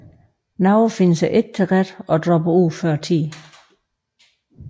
Nogle finder sig ikke til rette og dropper ud før tid